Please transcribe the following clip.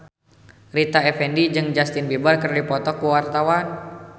Rita Effendy jeung Justin Beiber keur dipoto ku wartawan